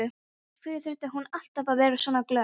Af hverju þurfti hún alltaf að vera svona glögg?